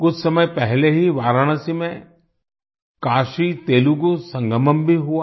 कुछ समय पहले ही वाराणसी में काशीतेलुगू संगमम भी हुआ